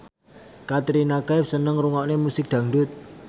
Katrina Kaif seneng ngrungokne musik dangdut